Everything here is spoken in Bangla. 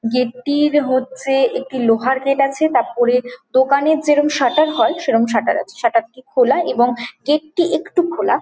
গেট টির হচ্ছে একটি লোহার গেট আছে | তারপরে দোকানে জেরম শাটার হয় সেরকম শাটার আছে |শাটার -টি খোলা এবং গেট টি একটু খোলা |